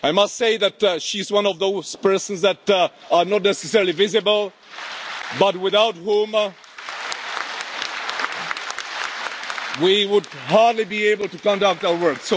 I must say that she is one of those persons who are not necessarily visible but without whom we would hardly be able to conduct our work.